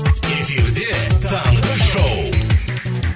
эфиде таңғы шоу